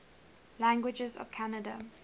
languages of canada